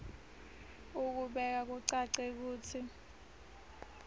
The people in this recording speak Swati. ukubeka kucace kutsi